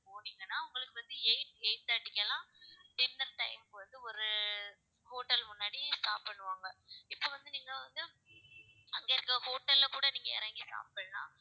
போனீங்கன்னா உங்களுக்கு வந்து eight eight thirty க்கு எல்லாம் dinner time க்கு வந்து, ஒரு hotel முன்னாடி stop பண்ணுவாங்க இப்ப வந்து, நீங்க வந்து அங்க இருக்கிற hotel ல கூட நீங்க இறங்கிடலாம் சாப்பிடலாம்